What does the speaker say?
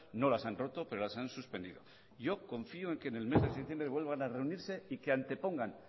no las han roto pero las han suspendido yo confío en que en el mes de septiembre vuelvan a reunirse y que antepongan